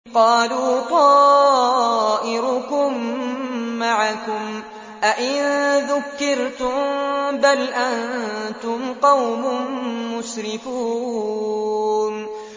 قَالُوا طَائِرُكُم مَّعَكُمْ ۚ أَئِن ذُكِّرْتُم ۚ بَلْ أَنتُمْ قَوْمٌ مُّسْرِفُونَ